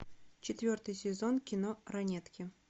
четвертый сезон кино ранетки